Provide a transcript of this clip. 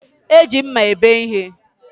E ji mma ebe ihe